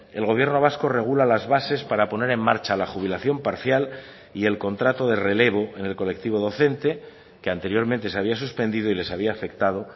el gobierno vasco regula las bases para poner en marcha la jubilación parcial y el contrato de relevo en el colectivo docente que anteriormente se había suspendido y les había afectado